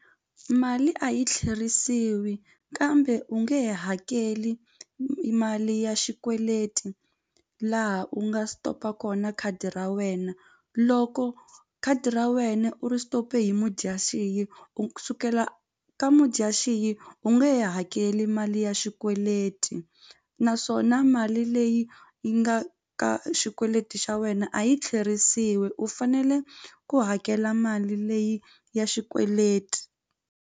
Mali a yi tlherisiwi kambe u nge he hakeli i mali ya xikweleti laha u nga stop-a kona khadi ra wena loko khadi ra wena u ri stop-e hi Mudyaxihi ku sukela ka Mudyaxihi u nge hakeli mali ya xikweleti naswona mali leyi yi nga ka xikweleti xa wena a yi tlherisiwi u fanele ku hakela mali leyi ya xikweleti.